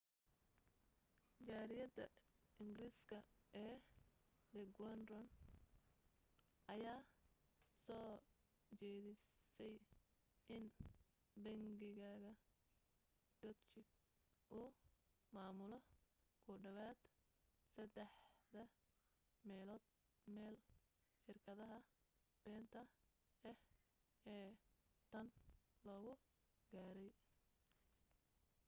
jariiradda ingiriiska ee the guardian ayaa soo jeedisay in bangiga deutsche uu maamulo ku dhowaad saddex meelood meel shirkadaha beenta ah ee tan lagu gaadhay